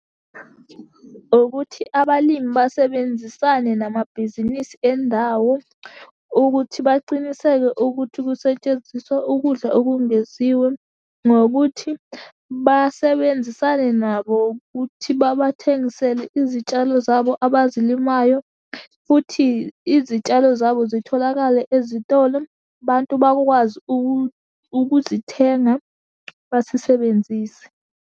Ukuthi abalimi basebenzisane namabhizinisi endawo, ukuthi baciniseke ukuthi kusetshenziswa ukudla okungeziwe, ngokuthi basebenzisane nabo ukuthi babathengisele izitshalo zabo abazilimayo, futhi izitshalo zabo zitholakale ezitolo, bantu bakwazi ukuzithenga bazisebenzise.